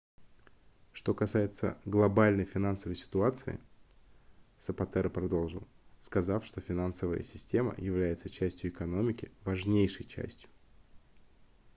что касается глобальной финансовой ситуации сапатеро продолжил сказав что финансовая система является частью экономики важнейшей частью